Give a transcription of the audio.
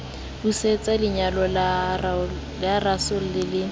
busetse lenyalo la rasello le